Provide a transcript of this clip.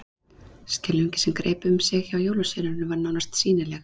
Skelfingin sem greip um sig hjá jólasveinunum var nánast sýnileg.